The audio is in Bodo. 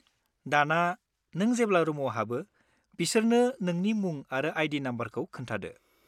दाना, नों जेब्ला रुमआव हाबो बिसोरनो नोंनि मुं आरो आइ.डि. नमबरखौ खोन्थादो।